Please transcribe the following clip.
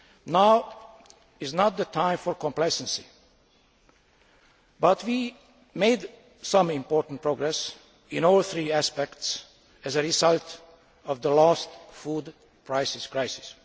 Now is not the time for complacency, but we did make some important progress in all three aspects as a result of the last food prices crisis.